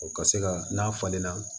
O ka se ka n'a falenna